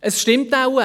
Es stimmt wohl: